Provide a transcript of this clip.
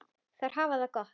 Þær hafa það gott.